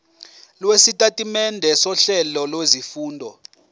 lwesitatimende sohlelo lwezifundo